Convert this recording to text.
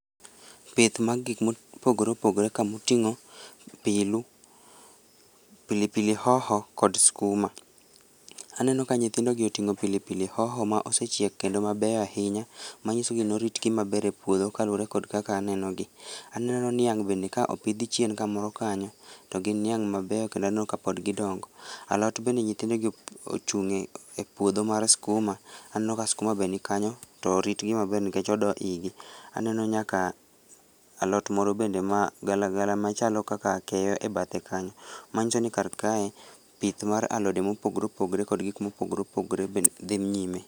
Pith mar gikma opogoreopogore kamoting'o pilu, pilipili hoho kod skuma, aneno ka nyithindogi oting'o pilipili hoho ma osechiek kendo mabeyo ahinya, manyiso ni ne oritgi maber e puodho kaluore kod kaka anenogi, aneno niang' bende ka opidh chien kamoro kanyo, to gin niang' mabeyo kendo aneno ka pod gidongo, alot bende nyithindogi ochung' e puodho mar skuma, anenoka skuma be nikanyo tpo oroitgi maber nikech odoo igi, aneno nyaka alot moro bende magalagala machalo kaka akeyo e bathe kanyo, manyiso ni karkae pith mar alode mopogoreopogore kod gikma opogoreopogore bende dhii nyime